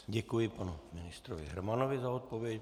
Děkuji panu ministrovi Hermanovi za odpověď.